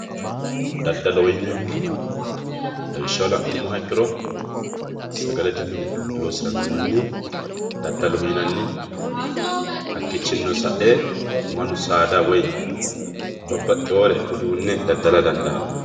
daddaloho yineemmohu lawishshaho la'nummoha ikkiro sagalete mine loosiranno manniha daddaloho yinanni hakkiichinnino sa'e mannu saada woy babbaxxewoore uduunne daddala dandaanno.